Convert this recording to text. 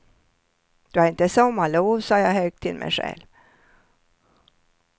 Du har inte sommarlov, sa jag högt till mig själv.